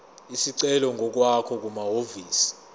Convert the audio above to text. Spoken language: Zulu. isicelo ngokwakho kumahhovisi